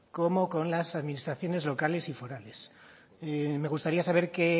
como con las administraciones locales y forales me gustaría saber qué